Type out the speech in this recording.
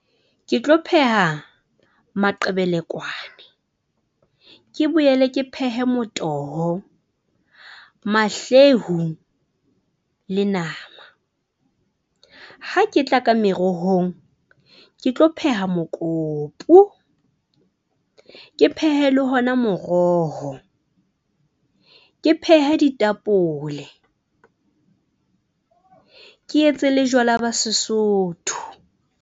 Ke tlo pheha maqebelekwane, ke boele ke phehe motoho, mahlehu le nama. Ha ke tla ka merohong, ke tlo pheha mokopu, ke phehe le ona moroho. Ke phehe ditapole, ke etse le jwala ba Sesotho.